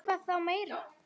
Hvað þá meira.